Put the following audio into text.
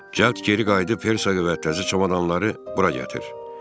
Cəld geri qayıdıb, Hertsogə və təzə çamadanları bura gətir.